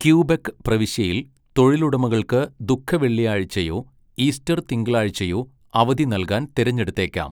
Quebec പ്രവിശ്യയിൽ, തൊഴിലുടമകൾക്ക് ദുഃഖവെള്ളിയാഴ്ചയോ ഈസ്റ്റർ തിങ്കളാഴ്ചയോ അവധി നൽകാൻ തിരഞ്ഞെടുത്തേക്കാം.